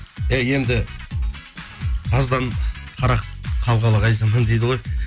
иә енді таздан қара дейді ғой